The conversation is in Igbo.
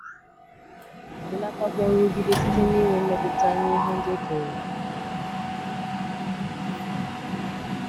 Belatakwuo nrụgide site n’inwe mmetụta nye ihe ndị e kere eke.